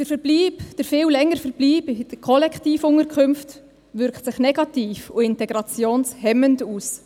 Der viel längere Verbleib in den Kollektivunterkünften wirkt sich negativ und integrationshemmend aus.